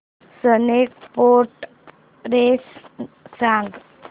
snake boat race सांग